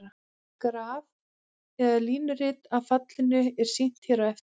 Graf eða línurit af fallinu er sýnt hér á eftir.